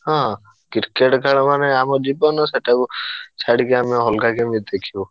ହଁ Cricket ଖେଳ ମାନେ ଆମ ଜୀବନ ସେଇଟାକୁ ଛାଡିକି ଆମେ ଅଲଗା କେମିତି ଦେଖିବୁ।